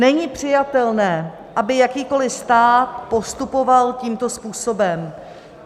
Není přijatelné, aby jakýkoli stát postupoval tímto způsobem.